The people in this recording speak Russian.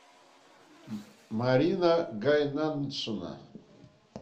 марина гайнаншина